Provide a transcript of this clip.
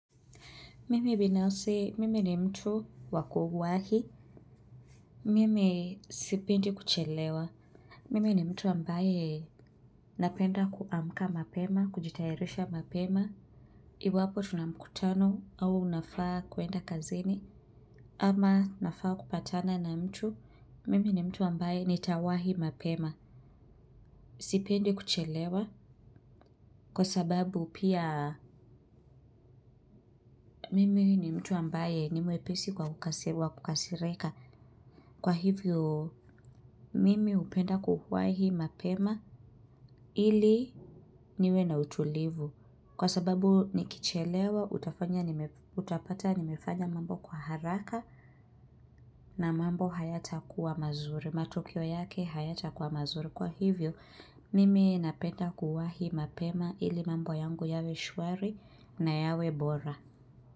Mimi binafsi, mimi ni mtu wa kuwahi. Mimi sipendi kuchelewa. Mimi ni mtu ambaye napenda kuamka mapema, kujitayarisha mapema. Iwapo tuna mkutano au nafaa kuenda kazini. Ama nafaa kupatana na mtu, mimi ni mtu ambaye nitawahi mapema. Sipendi kuchelewa. Kwa sababu pia mimi ni mtu ambaye ni mwepesi kwa ukasi wa, kukasirika kwa hivyo. Mimi hupenda kuwahi mapema ili niwe na utulivu kwa sababu nikichelewa utapata nimefanya mambo kwa haraka. Na mambo hayatakuwa mazuri. Matokeo yake hayatakuwa mazuri kwa hivyo, mimi napenda kuwahi mapema ili mambo yangu yawe shwari na yawe bora.